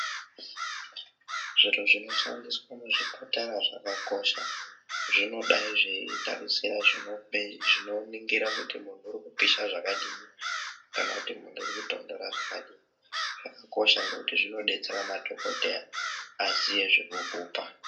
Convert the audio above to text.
Zviro zvinoshandiswa muzvipatara zvakakosha zvinodayi zveitarisira zvinoningira kuti muntu ukupisha zvakadini kana kuti muntu ukutonhora zvakadini zvakakosha ngekuti zvinodetsera madhokodheya aziye zvekukupa.